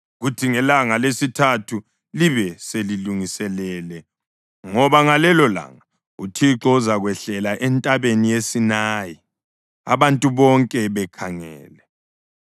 kuthi ngelanga lesithathu libe selilungiselele ngoba ngalelolanga uThixo uzakwehlela entabeni yeSinayi abantu bonke bekhangele.